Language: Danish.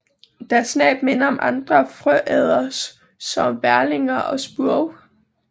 Deres næb minder om andre frøæderes som værlinger og spurve